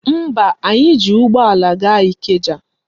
Mba, anyị ji ụgbọala gaa Ikeja